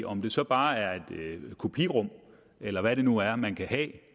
om det så bare er et kopirum eller hvad det nu er man kan have